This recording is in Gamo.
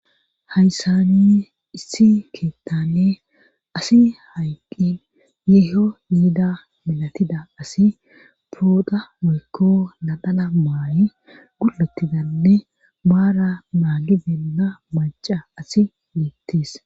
hayssanne issi keettane asi hayqqin yeeho yiida milatida asi foodha moykko nadhana maayi gul7otidanne maara maagi benna maca asi miittis